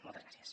moltes gràcies